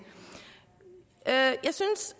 jeg synes